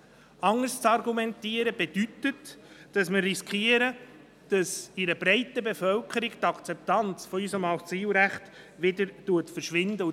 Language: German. Anders zu argumentieren bedeutet, dass wir riskieren, dass in einer breiten Bevölkerung die Akzeptanz für unser Asylrecht wieder schwindet.